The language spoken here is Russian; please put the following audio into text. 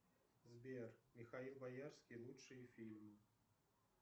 сбер михаил боярский лучшие фильмы